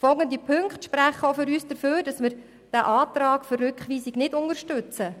Folgende Punkte sprechen für uns dafür, den Antrag auf Rückweisung nicht zu unterstützen: